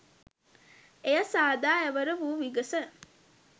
එය සාදා එවර වු විගස